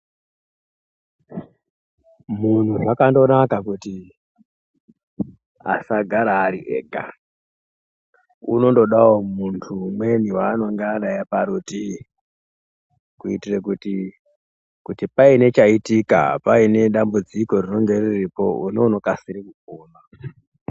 Zvakandonaka kuti muntu asagare ari ega unongodawo muntu umweni waangangodawo parutivi kuitira kuti paine chaitika pane dambudziko rinenge riripo umweni inokasire kukuona.